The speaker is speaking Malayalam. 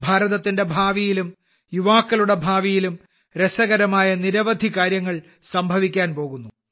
ഭാരതത്തിന്റെ ഭാവിയിലും യുവാക്കളുടെ ഭാവിയിലും രസകരമായ നിരവധി കാര്യങ്ങൾ സംഭവിക്കാൻ പോകുന്നു